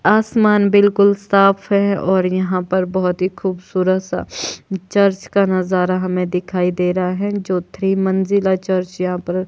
आसमान बिल्कुल साफ है और यहां पर बहोत ही खूबसूरत सा चर्च का नजारा हमें दिखाई दे रा है जो थ्री मंजिला चर्च यहां पर--